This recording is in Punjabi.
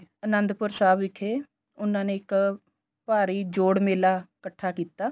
ਆਨੰਦਪੁਰ ਸਾਹਿਬ ਵਿਖੇ ਉਨ੍ਹਾਂ ਨੇ ਇੱਕ ਭਾਰੀ ਜੋੜ ਮੇਲਾ ਇਕੱਠਾ ਕੀਤਾ